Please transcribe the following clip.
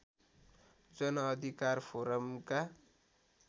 जनअधिकार फोरमका